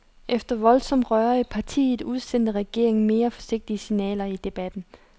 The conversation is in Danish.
Efter voldsomt røre i partiet udsendte regeringen mere forsigtige signaler i debatten.